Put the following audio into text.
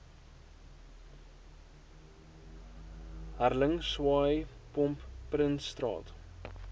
hurling swaaipomp prinsstraat